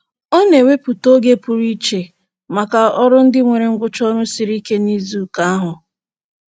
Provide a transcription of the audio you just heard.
Ọ na-ewepụta oge pụrụ iche maka ọrụ ndị nwere ngwụcha ọrụ siri ike n'izuụka ahụ.